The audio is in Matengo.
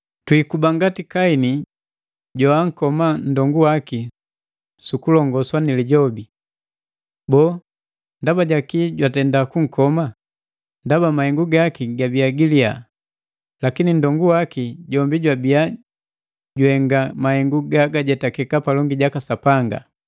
Twiikuba ngati Kaini joankoma nndongu waki sukulongoswa ni lijobi. Boo, ndaba jaki jwatenda kunkoma? Ndaba mahengu gaki gabiya giliya, lakini nndongu waki jombi jwabia juhenga mahengu gagajetakeka palongi jaka Sapanga!